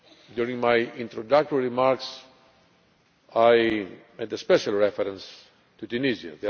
During my introductory remarks I made special reference to Tunisia.